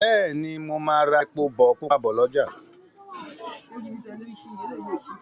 Béèni mo má rà èpo pupa bó l'ọja.